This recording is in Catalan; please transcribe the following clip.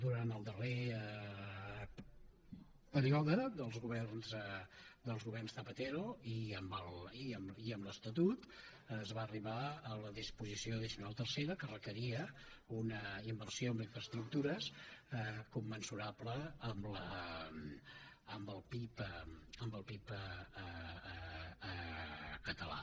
durant el darrer període dels governs zapatero i amb l’estatut es va arribar a la disposició addicional tercera que requeria una inversió en infraestructures commensurable amb el pib català